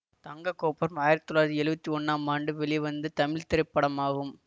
தங்க கோபுரம் ஆயிரத்தி தொள்ளாயிரத்தி எழுவத்தி ஒன்னாம் ஆண்டு வெளிவந்த தமிழ் திரைப்படமாகும்